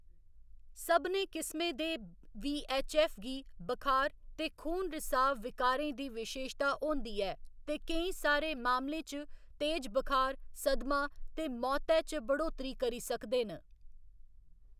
सभने किस्में दे वी.ऐच्च.ऐफ्फ. गी बखार ते खून रिसाव विकारें दी विशेशता होंदी ऐ ते केईं सारे मामलें च तेज बखार, सदमा ते मौतै च बढ़ोतरी करी सकदे न।